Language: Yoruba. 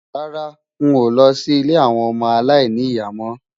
Rárá, n ò lọ sí ilé àwọn ọmọ aláìní ìyá mọ́.